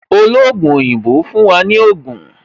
Ologun oyinbo fún wa ní Ogun